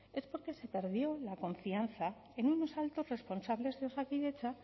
es porque se perdió la confianza en unos altos responsables de osakidetza